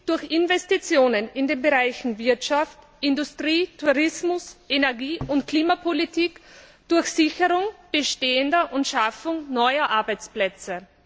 B. durch Investitionen in den Bereichen Wirtschaft, Industrie, Tourismus, Energie und Klimapolitik, durch Sicherung bestehender und Schaffung neuer Arbeitsplätze.